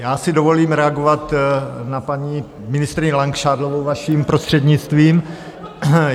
Já si dovolím reagovat na paní ministryni Langšádlovou, vaším prostřednictvím.